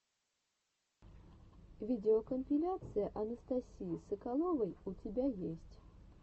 видеокомпиляция анастасии соколовой у тебя есть